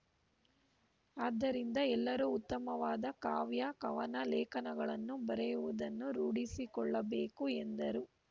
ಆದ್ದರಿಂದ ಎಲ್ಲರೂ ಉತ್ತಮವಾದ ಕಾವ್ಯಕವನ ಲೇಖನಗಳನ್ನು ಬರೆಯುವುದನ್ನು ರೂಡಿಸಿಕೊಳ್ಳಬೇಕು ಎಂದರು